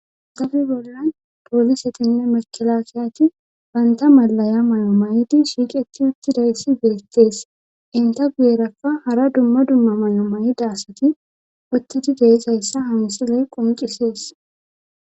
zabi bollan poolisetinne makila kiyati banta malaya maya maydi shiiqeti uttidayssi beettees inta guyerakka hara dumma dumma maya mayida asati uttidi deezayssa hansiley qoncisees.